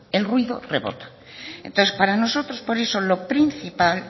el ruido rebota entonces para nosotros por eso lo principal